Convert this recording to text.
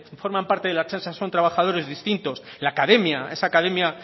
forman parte de la ertzaintza son trabajadores distintos la academia esa academia